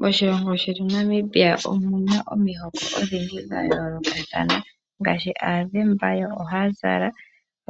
Moshilongo shetu Namibia omu na omihoko odhindji dha yoolokathana, ngaashi Aazemba, yo ohaya zala